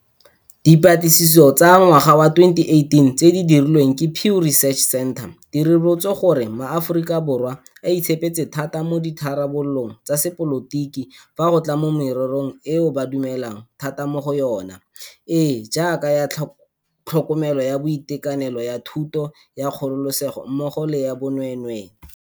Dipatlisiso tsa ngwaga wa 2018 tse di dirilweng ke Pew Research Center di ribolotse gore maAforika Borwa a itshepetse thata mo ditharabololong tsa sepolotiki fa go tla mo mererong eo ba dumelang thata mo go yona, e e jaaka ya tlhokomelo ya boitekanelo, ya thuto, ya kgololesego mmogo le ya bonweenwee.